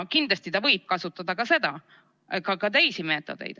Kindlasti võib ta kasutada ka teisi meetodeid.